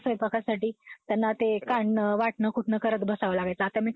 त्यांना ते काढणं वाटण कुटनं करत बसावं लागायचं. आता